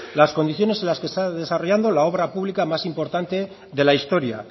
las condiciones en las que se está desarrollando la obra pública más importante de la historia